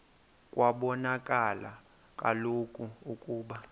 kwabonakala kaloku ukuba